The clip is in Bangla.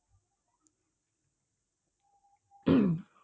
হম